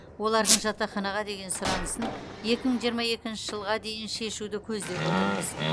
олардың жатақханаға деген сұранысын екі мың жиырма екінші жылға дейін шешуді көздеп отырмыз